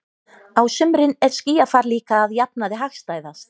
Á sumrin er skýjafar líka að jafnaði hagstæðast.